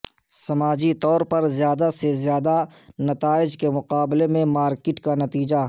سماجی طور پر زیادہ سے زیادہ نتائج کے مقابلے میں مارکیٹ کا نتیجہ